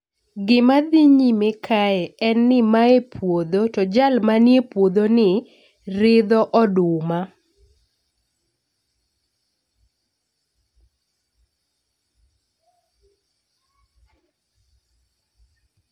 Gima dhi nyime kae en ni mae puodho to jal manie puodho ni ridho oduma